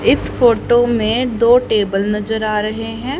इस फोटो में दो टेबल नजर आ रहे हैं।